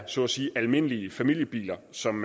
så at sige er almindelige familiebiler som